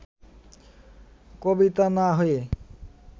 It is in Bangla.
কবিতা না-হয়ে